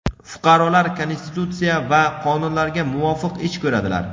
fuqarolar Konstitutsiya va qonunlarga muvofiq ish ko‘radilar.